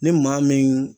Ni maa min